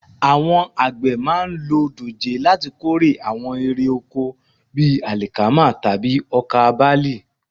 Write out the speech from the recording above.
Àwọn àgbẹ̀ máa ń lo dòjé láti kórè àwọn irè oko bí àlìkámà tàbí ọkà bálì